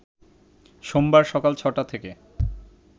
সোমবার সকাল ছটা থেকে